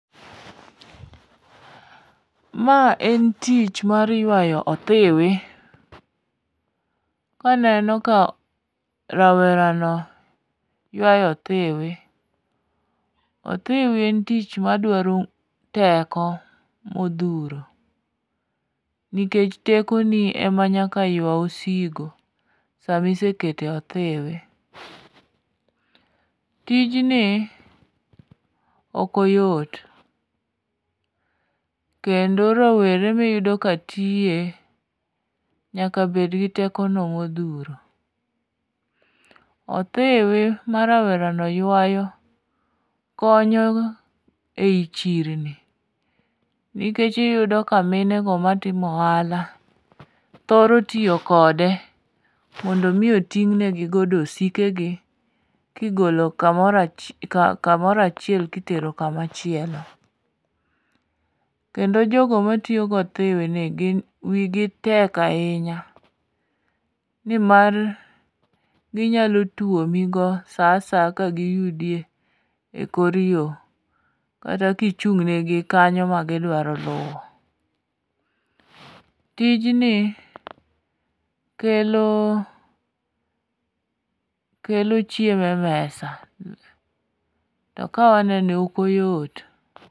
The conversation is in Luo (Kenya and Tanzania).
Ma en tich mar ywayo othiwi, aneno ka rawerano yawyo othiwi, othiwi en tich madwaro teko modhuro, nikech tekoni ema nyaka ywa osigo sama iseketo e othiwi. Tijni ok oyot, kendo rowere miyudo ka tiye nyaka bed gi tekono modhuro. Othiwi ma rawerano ywayo konyo ei chirni nikech iyudo ka minego matimo ohala thoro tiyo kode mondo omi oting'ni godo osikegi kigolo kamoro achiel kitero kamachielo. Kendo jogo matiyo gothiwini wigi tek ahinya nimar ginyalo tuomigo sa asaya kagiyudo e kor yo kata kichung'negi kanyo magidwaro luwo. Tijni kelo chiemo e mesa, to kawanene ok oyot.